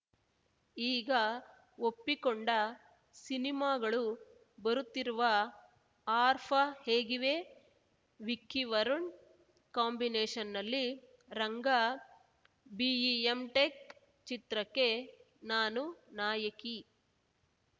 ಈಗ ಒಪ್ಪಿಕೊಂಡ ಸಿನಿಮಾಗಳು ಬರುತ್ತಿರುವ ಆರ್ಫ ಹೇಗಿವೆ ವಿಕ್ಕಿ ವರುಣ್‌ ಕಾಂಬಿನೇಷ್‌ನಲ್ಲಿ ರಂಗ ಬಿಇ ಎಂಟೆಕ್‌ ಚಿತ್ರಕ್ಕೆ ನಾನು ನಾಯಕಿ